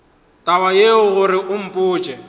taba yeo gore o mpotše